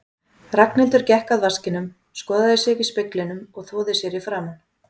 Ragnhildur gekk að vaskinum, skoðaði sig í speglinum og þvoði sér í framan.